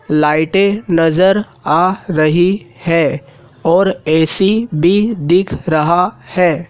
लाइटे नजर आ रही है और ए_सी भी दिख रहा है।